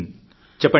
ఆ చెప్పండి